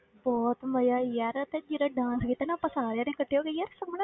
ਬਹੁਤ ਮਜ਼ਾ ਯਾਰ ਤੇ ਜਿਹੜਾ dance ਕੀਤਾ ਨਾ ਆਪਾਂ ਸਾਰਿਆਂ ਨੇ ਇਕੱਠੇ ਹੋ ਕੇ ਯਾਰ,